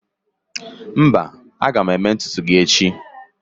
mba, aga m eme ntutu gi echi